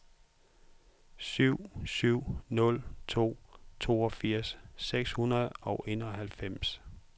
syv syv nul to toogfirs seks hundrede og enoghalvfems